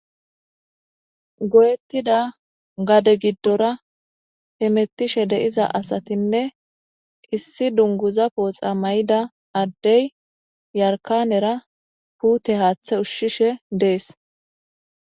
Goyetida gade gidira hemetishe diza asatinee issi duniguza poxa mayida adey yarikanera pute hathe ushishe des